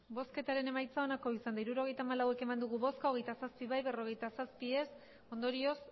hirurogeita hamalau eman dugu bozka hogeita zazpi bai berrogeita zazpi ez ondorioz